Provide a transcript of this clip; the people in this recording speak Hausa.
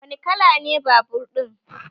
Wani kala ne babur ɗin?